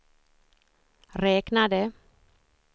räknade